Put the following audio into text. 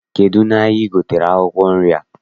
Kedụ n'ahịa I gotere akwụkwọ nri a?